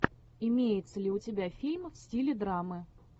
имеется ли у тебя фильм в стиле драмы